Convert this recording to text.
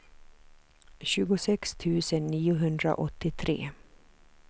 tjugosex tusen niohundraåttiotre